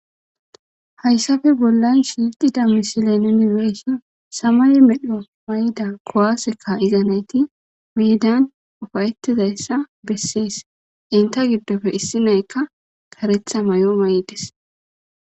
hayssafe bollan shiixida misilen yunibersin samay medho mayda kowaseka izanayti miidan ufayettizayssa bessees inta giddofe issi naykka karetha may7o may7des